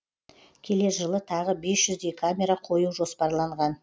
келер жылы тағы бес жүздей камера қою жоспарланған